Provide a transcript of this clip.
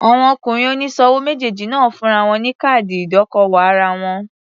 Àwọn ọkùnrin oníṣòwò méjèèjì náà fúnra wọn ní káàdì ìdókòwò ara wọn.